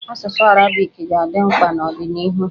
Asụsụ arabiki ga-adị mkpa n'ọdịnịhu.